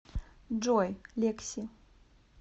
джой лекси